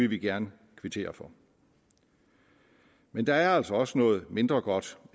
vi gerne kvittere for men der er altså også noget mindre godt